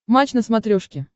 матч на смотрешке